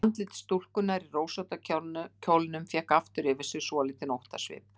Andlit stúlkunnar í rósótta kjólnum fékk aftur yfir sig svolítinn óttasvip.